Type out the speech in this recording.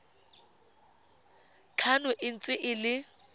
tlhano e ntse e le